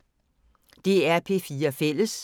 DR P4 Fælles